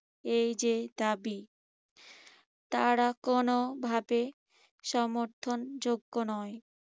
এই যে দাবি তারা কোনভাবে সমর্থনযোগ্য নয়।